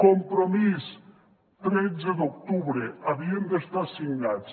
compromís tretze d’octubre havien d’estar signats